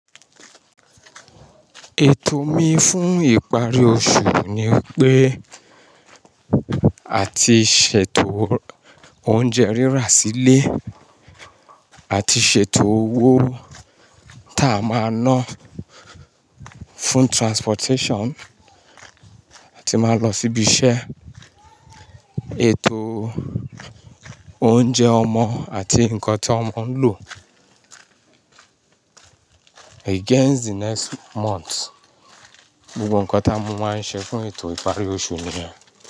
Ètò mi fún ìparí oṣù ni pé àti ṣètò oúnjẹ rírà sílé àti ṣètò owó ta a máa ná fún transportation tí máa lọ síbi iṣẹ́, ètò oúnjẹ ọmọ àti nǹkan tí ọmọ ń lò against the next month. Gbogbo nǹkan táa mu máa ń ṣe fún ètò ìparí oṣù ni ẹ.